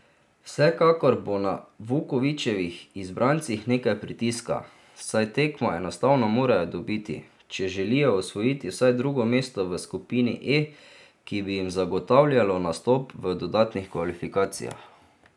Vsekakor bo na Vukovićevih izbrancih nekaj pritiska, saj tekmo enostavno morajo dobiti, če želijo osvojiti vsaj drugo mesto v skupini E, ki bi jim zagotavljalo nastop v dodatnih kvalifikacijah.